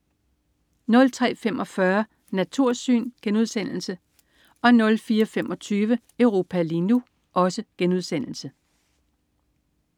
03.45 Natursyn* 04.25 Europa lige nu*